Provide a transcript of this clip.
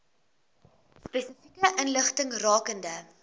spesifieke inligting rakende